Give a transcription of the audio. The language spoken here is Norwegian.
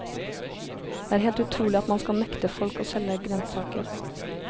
Det er helt utrolig at man skal nekte folk å selge grønnsaker.